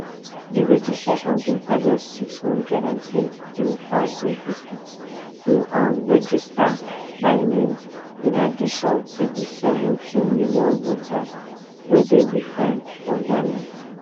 di registration bin target six hundred and twenty-three thousand pipo to um register by may in addition to di seventeen million voters wey dey bifor for ghana